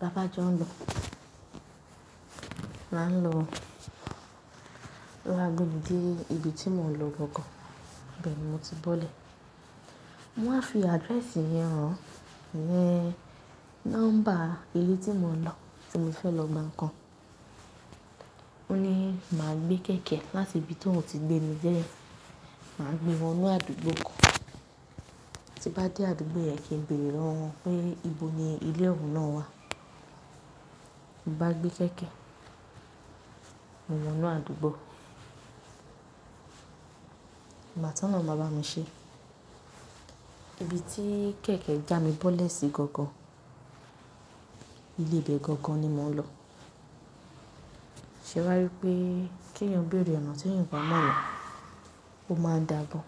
"La bá jọ ń lọ." A ń lọ lágbègbèmi dé ibi tí mò ń lọ gangan, bẹ̀ ni mo ti bọ́lẹ̀. Mo wá fi address yẹn hàn, ìyẹn nọ́mbà ilé tí mò ń lọ tí mo ti fẹ́ lọ gba ǹkan. Ó ní màá gbé kẹ̀kẹ́ láti ibi t’óun ti gbé mi de, màá gbé wọnú àdúgbò kan. Tí bá dé àdúgbò yẹn, kí n bèrè lọ́wọ́ wọn pé ibo ni ilé òún náà wà. Mo bá gbé kẹ̀kẹ́, mo wọ inú àdúgbò. Gbà t’Ọlọhun máa bá mi ṣe. Ibi tí kẹ̀kẹ́ já mi bọ́lẹ̀ sí gangan, ilé ìbẹ̀ gangan ni mò ń lọ. Ṣé a wá rí i pé kí èèyàn bèrè ọ̀nà tí èèyàn ò bá mọ̀ ọ̀nà, ó máa n dáa gan?